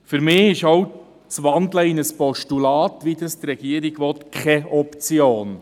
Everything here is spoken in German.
Für mich ist auch das Wandeln in ein Postulat, wie es die Regierung will, keine Option.